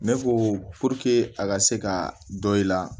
Ne ko a ka se ka dɔ in la